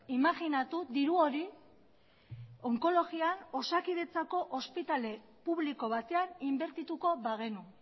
imajinatu diru hori onkologian osakidetzako ospitale publiko batean inbertituko bagenu